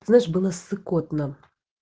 слышишь было ссыкотно